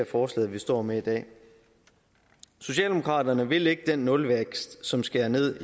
forslag vi står med i dag socialdemokraterne vil ikke den nulvækst som skærer ned